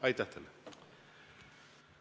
Aitäh teile!